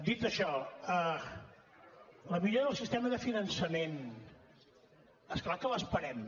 dit això la millora del sistema de finançament és clar que l’esperem